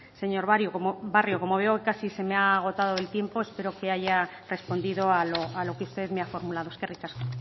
señor barrio como veo que casi se me ha agotado el tiempo espero que haya respondido a lo que usted me ha formulado eskerrik asko